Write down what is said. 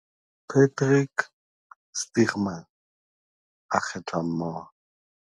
Patrick Stuurman - A kgethwa mmoho